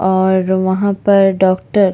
और वहाँ पर डॉक्टर --